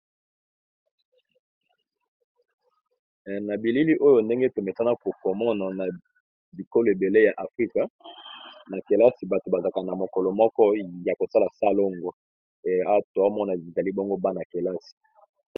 Na bilili oyo ndenge tometana kokamona na bikolo ebele ya afrika na kelasi bato bazaka na mokolo moko ya kosala salongo eatoamona izali bongo bana kelasi.